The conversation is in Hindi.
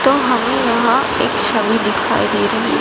तो हमें यहां एक छवि दिखाई दे रही--